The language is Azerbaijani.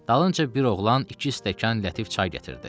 Dalınca bir oğlan iki stəkan lətif çay gətirdi.